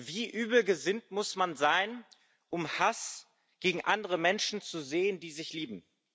Wie übel gesinnt muss man sein, um Hass gegen andere Menschen zu säen, die sich lieben?